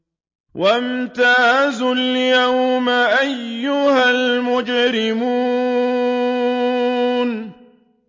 وَامْتَازُوا الْيَوْمَ أَيُّهَا الْمُجْرِمُونَ